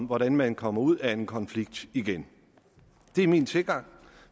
hvordan man kommer ud af en konflikt igen det er min tilgang